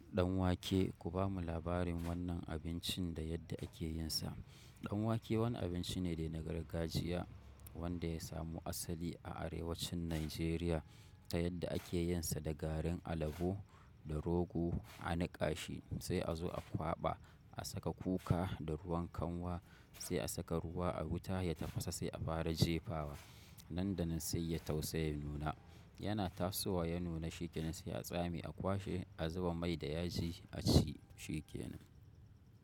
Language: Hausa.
Danwake ku bamu labarin wannan abincin da yadda ake yin sa. Danwake wani abinci ne dai na gargajiya wanda ya samu asali a arewacin Najeriya ta yadda ake yin sa da garin alabo da rogo a niƙa shi sai a zo a kwaɓa a saka kuka da ruwan kanwa sai a saka ruwa a wuta ya tafasa sai a fara jefawa. Nan da nan sai ya tausayi ya nuna yana tasowa ya nuna shi kenan sai a samu a kwashe a zuba mai da yaji a ci shi kenan.